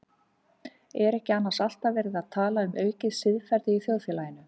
Er ekki annars alltaf verið að tala um aukið siðferði í þjóðfélaginu?